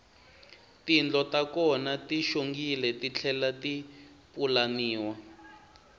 tindlo ta kona ti xongile titlhela ti pulaniwa